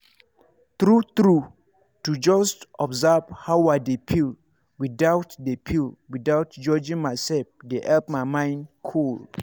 true true to just observe how i dey feel without dey feel without judging myself dey help my mind cool.